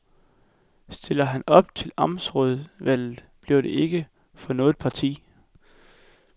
Stiller han op til amtsrådsvalget, bliver det ikke for noget parti.